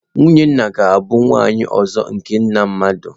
Nwunye nna ga-abụ nwunye ọzọ nke nna mmadụ.